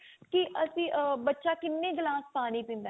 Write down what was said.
ਕੀ ਅਸੀਂ ਆ ਬੱਚੇ ਕਿੰਨੇ ਗਿਲਾਸ ਪਾਣੀ ਪਿੰਦਾ